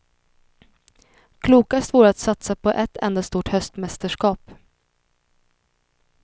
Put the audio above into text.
Klokast vore att satsa på ett enda stort höstmästerskap.